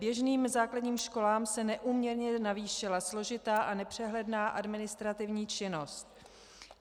Běžným základním školám se neúměrně navýšila složitá a nepřehledná administrativní činnost.